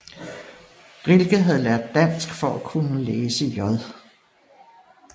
Rilke havde lært dansk for at kunne læse J